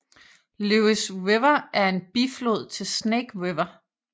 Lewis River er en biflod til Snake River